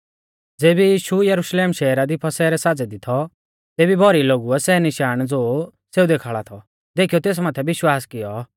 ज़ेबी यीशु यरुशलेम शहरा दी फसह रै साज़ै दी थौ तेबी भौरी लोगुऐ सै निशाण ज़ो सेऊ देखाल़ा थौ देखीयौ तेस माथै विश्वास कियौ